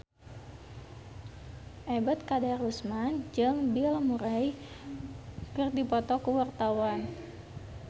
Ebet Kadarusman jeung Bill Murray keur dipoto ku wartawan